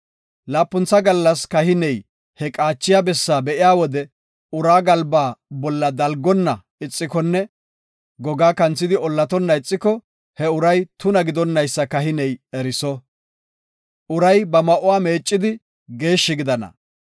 Laapuntha gallas kahiney he qaachiya bessaa be7iya wode uraa galbaa bolla dalgonna ixikonne gogaa kanthidi ollatonna ixiko, he uray tuna gidonaysa kahiney eriso. Uray ba ma7uwa meeccidi geeshshi gidana.